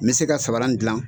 N mi se ka samara dilan.